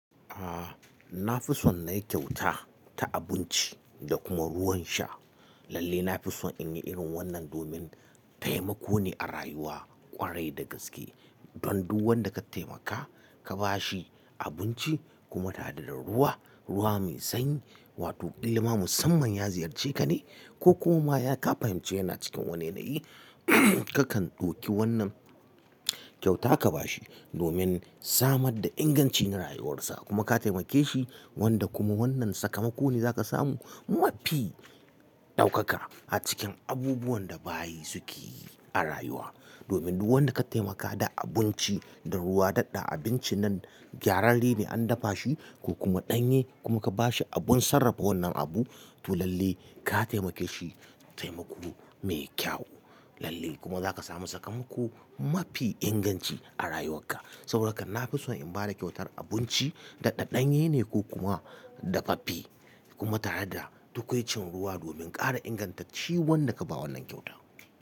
Aaa, na fi son na yi kyauta ta abinci da kuma ruwan sha. Lalle na fi son in yi irin wannan domin taimako ne a rayuwa ƙwarai da gaske. Don duk wanda ka taimaka, ka ba shi abinci kuma tare da ruwa, ruwa mai sanyi, wato kila ma musamman ya ziyarce ka ne ko kuma ya ka fahimci yana cikin wani yanayi, kakan ɗauki wannan kyauta ka ba shi domin samar da inganci na rayuwarsa. Kuma ka taimake shi wanda kuma wannan sakamako ne za ka samu mafi ɗaukaka a cikin abubuwan da bayi suke yi a rayuwa. Domin duk wanda ka taimaka da abinci da ruwa, daɗa abinci nan gyararrene an dafa shi ko kuma ɗanye kuma ka ba shi abun sarrafa wannan abu, to lalle ka taimake shi taimako mai kyau. Lalle kuma za ka samu sakamako mafi inganci a rayuwakka. Saboda haka na fi son in ba da kyautar abinci daɗa ɗanye ne ko kuma dafaffe kuma tare da tukwicin ruwa domin ƙara ingantacci wanda ka ba wannan kyauta.